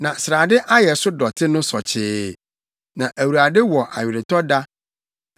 Na Awurade wɔ aweretɔ da ananmuhyɛ afe, a obedi ama Sion.